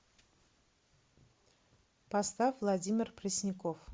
поставь владимир пресняков